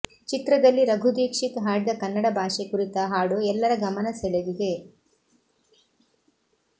ಚಿತ್ರದಲ್ಲಿ ರಘು ದೀಕ್ಷಿತ್ ಹಾಡಿದ ಕನ್ನಡ ಭಾಷೆ ಕುರಿತ ಹಾಡು ಎಲ್ಲರ ಗಮನ ಸೆಳೆದಿದೆ